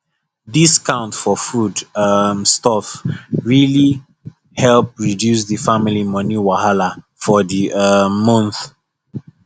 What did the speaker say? discount for food um stuff really help reduce the family money wahala for the um month